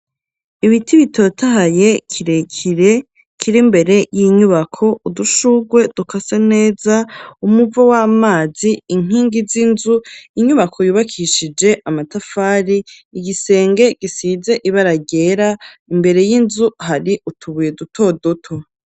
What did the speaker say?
Ibiti bitotaye kirekire kiri imbere y'inyubako udushurwe dukase neza, umuvo w'amazi, inkingi z'inzu, inyubako yubakishije amatafari, igisenge gisize ibara ryera, imbere y'inzu hari utubuye duto doto.